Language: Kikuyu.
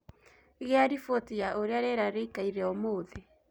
Gia riboti ya uria rĩera rĩĩkaĩreũmũthĩ